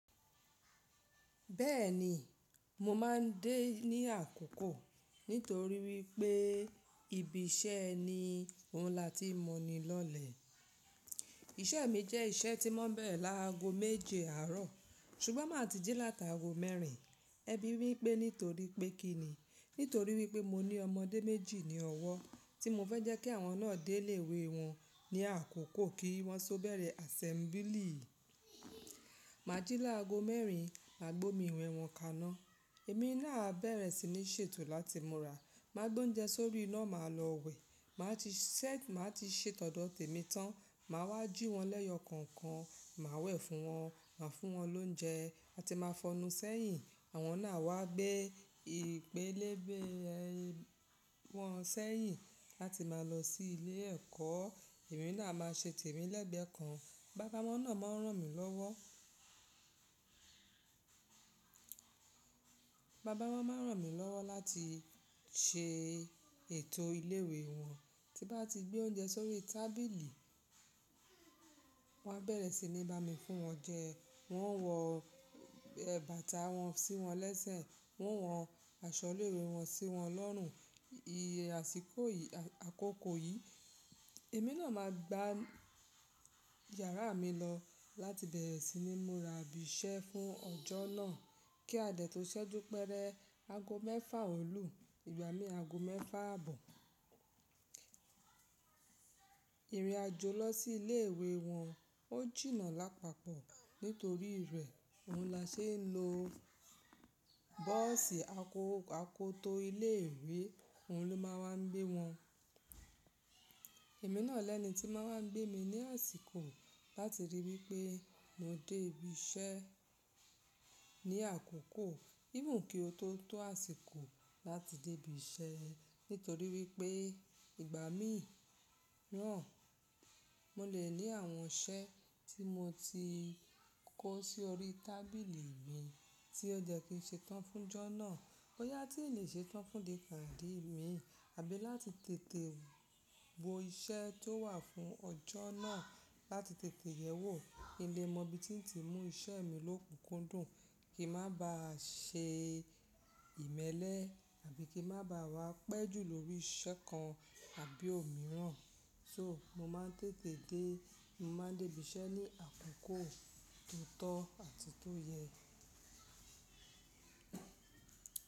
Bẹ́ẹ̀ni, mo máa ń dé ní àkókò nítorí wípé ibi iṣẹ́ ẹni òun la ti mọni lọ́lẹ̀. Iṣẹ́ mi jẹ́ iṣẹ́ tí mọ́ n bẹ̀rẹ̀ láago méje àárọ̀, ṣùgbọ́n máa ti jí láta aago mẹ́rin. Ẹbí wípé nítorí pé kí ni? Nítorí wípé mo ní ọmọdé méjì ní ọwọ́ tí mo fẹ́ jẹ́ kí àwọn náà dé ilé ìwé wọn ní àkókò kí wọ́n so bẹ̀rẹ̀ àsẹ́mbílì. Mà á jí láago mẹ́rin, mà á gbé omi iwẹ́ wọn kaná, èmi náà á bẹ̀rẹ̀ sí ní ṣètò láti múra, mà á gbé oúnjẹ sórí iná, mà á lọ wẹ̀, mà á ti ṣẹ́, mà á ti ṣè tọ̀dọ̀ tèmi tán, mà á wá jí wọn lẹ́yọ kọ̀ọ̀kan, mà á wẹ̀ fún wọn, mà á fún wọn lóúnjẹ, àti mà á fọnú sẹ́yìn, àwọn náà a wá gbé ìpélébé wọ́n sẹ́yìn làti mà á lọ sí ilé ẹ̀kọ́. Èmi náà a máa ṣè tèmi lẹ́gbẹ̀ẹ́ kan. Bàbá wọ́n náà máa ń ràn mí lọ́wọ́. Bàbá wọ́n máa ń ràn mí lọ́wọ́ láti ṣe ètò ilé ìwé wọn. Tí bá ti gbé oúnjẹ sórí tábìlì, wọ́n á bẹ̀rẹ̀ sí ní bá mi fún wọn jẹ, wọ́n o wọ ẹ̀ bàtà wọn sí wọn lẹ́sẹ̀, wọ́n wọ aṣọ ilé ìwé wọn sí wọn lọ́rùn. Iye àsìkò yìí, àkókò yìí, èmi náà máa gba yàrá mi lọ láti bẹ̀rẹ̀ sí ní múra ibi iṣẹ́ fún ọjọ́ náà kí a dẹ̀ tó ṣẹ́jú péré aago mẹ́fà òòlú, ìgbà mí aago mẹ́fà àbò. Ìrìn àjò lọ sí ilé ìwé wọn ó jìnà lápàpọ̀ nítorí rẹ̀ òun la ṣe ń lo. Bọ́ọ̀sì akoto ìlé ìwé òun ló máa wa ń gbé wọn. Èmi náà lẹni ti máa ń gbé mi ní àsìkò láti rí wí pé mo dé ibi iṣẹ́ ní àkókò, even kí o tó tó àsìkò láti dé ibi iṣẹ́. Nítorí wí pé ìgbà mí rán, mo lè ní àwọn iṣẹ́ tí mo ti kó sí orí tábìlì mi tí ó jẹ́ kí ń ṣe tán fún jọ́ náà. Bóyá tí n lè ṣe tán fún dí kàn dí mi, àbí láti tètè wo iṣẹ́ tó wà fún ọjọ́ náà láti tètè yẹ̀wó. Kí n lè mọ bí tí ń ti mú iṣẹ́ mi lókùnkúndùn, kí n má bà á ṣe ìmẹ́lẹ́, àbí kí n má bà á wá pẹ́ jù lórí iṣẹ́ kan àbí òmíràn. So mo máa ń tètè dé, mo máa ń dé ibi iṣẹ́ ní àkókò tó tọ́ àti tó yẹ.